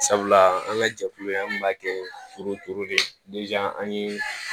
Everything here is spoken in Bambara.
Sabula an ka jɛkulu in an kun b'a kɛ foro turu de an ye